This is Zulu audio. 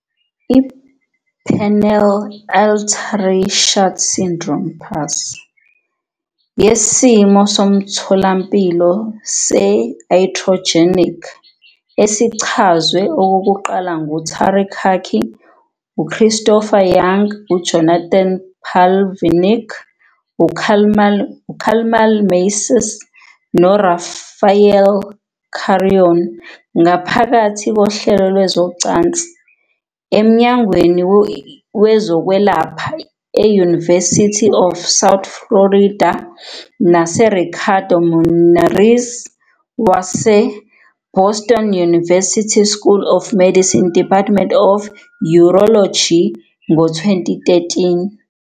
IPenile Artery Shunt Syndrome, PASS, yisimo somtholampilo se-iatrogenic esichazwe okokuqala nguTariq Hakky, uChristopher Yang, uJonathan Pavlinec, uKamal Massis, noRafael Carrion ngaphakathi koHlelo Lwezocansi eMnyangweni Wezokwelapha, e-University of South Florida naseRicardo Munarriz, waseBoston University School of Medicine Department of Urology ngo-2013.